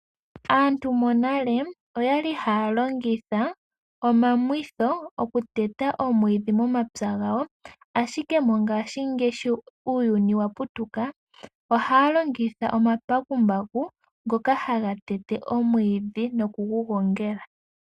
Aantu monale oya li haya longitha omamwitho oku teta omwiidhi momapya gawo, ashike mongaashingeyi sho uuyuni wa putuka, ohaya longitha omambakumbaku ngoka haga tete omwiidhi noku gu gongela.